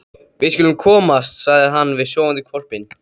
Við skulum komast, sagði hann við sofandi hvolpinn.